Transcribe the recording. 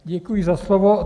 Děkuji za slovo.